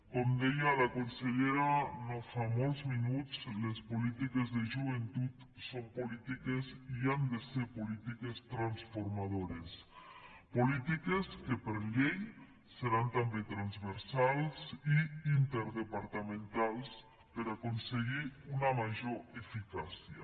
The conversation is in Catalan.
com deia la consellera no fa molts minuts les polítiques de joventut són polítiques i han de ser polítiques transformadores polítiques que per llei seran també transversals i interdepartamentals per aconseguir una major eficàcia